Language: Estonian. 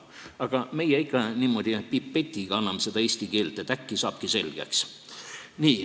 Aga meie ikka niimoodi pipetiga anname seda eesti keelt, et äkki saabki selgeks.